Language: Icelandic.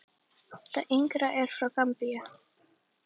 Það yngra er frá Gambíu.